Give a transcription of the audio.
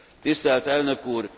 Tisztelt Elnök úr!